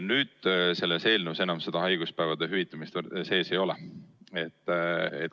Nüüd selles eelnõus enam haiguspäevade hüvitamist sees ei ole.